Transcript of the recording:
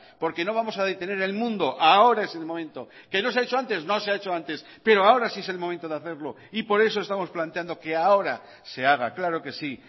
porque no vamos a detener el mundo ahora es el momento que no se ha hecho antes no se ha hecho antes pero ahora sí es el momento de hacerlo y por eso estamos planteando que ahora se haga claro que sí